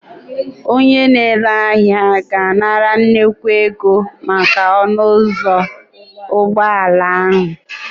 Onye na-ere ahịa ga-anara nnukwu ego maka ọnụ ụzọ ụgbọala ahụ